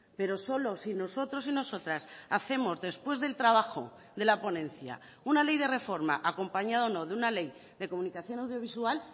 pero solo si nosotros y nosotras hacemos después del trabajo de la ponencia una ley de reforma acompañado o no de una ley de comunicación audiovisual